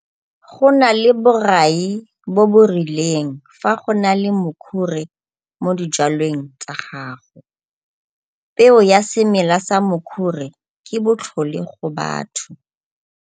Go na le borai bo bo rileng fa go na le Mokhure mo dijwalweng tsa gago. Peo ya semela sa Mokhure ke botlhole go batho.